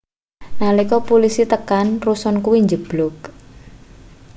nalika pulisi tekan rusun kuwi njebluk